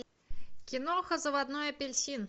киноха заводной апельсин